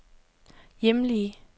hjemlige